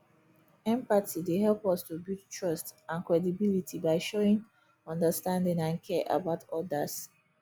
empathy dey help us to build trust and credibility by showing understanding and care about odas